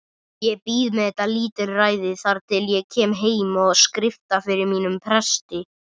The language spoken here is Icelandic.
Ég bíð með þetta lítilræði þar til ég kem heim og skrifta fyrir mínum presti.